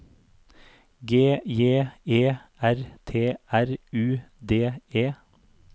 G J E R T R U D E